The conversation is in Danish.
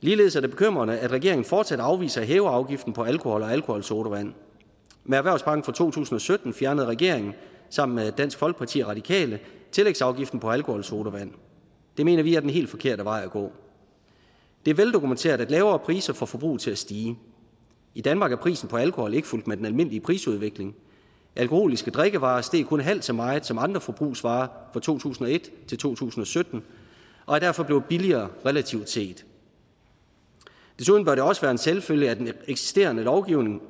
ligeledes er det bekymrende at regeringen fortsat afviser at hæve afgiften på alkohol og alkoholsodavand med erhvervspakken fra to tusind og sytten fjernede regeringen sammen med dansk folkeparti og radikale tillægsafgiften på alkoholsodavand det mener vi er den helt forkerte vej at gå det er veldokumenteret at lavere priser får forbruget til at stige i danmark er prisen på alkohol ikke fulgt med den almindelige prisudvikling alkoholiske drikkevarer steg kun halvt så meget som andre forbrugsvarer fra to tusind og et til to tusind og sytten og er derfor blevet billigere relativt set desuden bør det også være en selvfølge at den eksisterende lovgivning